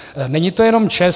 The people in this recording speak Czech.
Není to jenom ČEZ.